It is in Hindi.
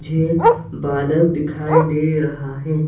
मुझे बादल दिखाई दे रहा है।